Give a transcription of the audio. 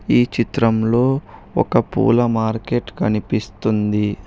ఈ చిత్రంలో ఒక పూల మార్కెట్ కనిపిస్తుంది.